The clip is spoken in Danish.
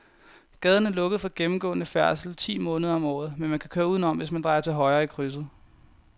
Gaden er lukket for gennemgående færdsel ti måneder om året, men man kan køre udenom, hvis man drejer til højre i krydset.